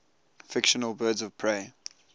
fictional birds of prey